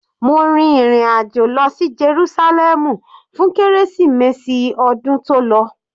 Mo rìn ìrin àjò lọ sí Jerúsálẹ́mù fún kérésìmesì ọdún tó lọ.